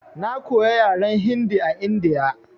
Na koya yaran Hindi a India.